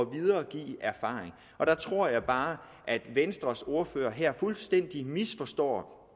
videregive erfaring og der tror jeg bare at venstres ordfører her fuldstændig misforstår